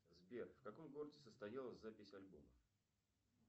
сбер в каком городе состоялась запись альбома